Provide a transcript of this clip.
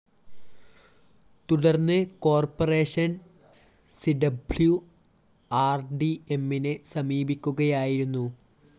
തുടര്‍ന്ന് കോർപ്പറേഷൻ സിഡബ്ലുആര്‍ഡിഎമ്മിനെ സമീപിക്കുകയായിരുന്നു